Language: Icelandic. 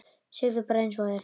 Segðu bara einsog er.